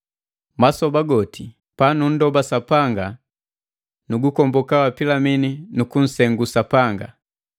Masoba goti panunndoba Sapanga nugukomboka wa Pilimini nu kunsengu Sapanga,